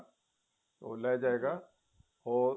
ਉਹ ਲਈ ਜਾਵੇਗਾ ਉਹ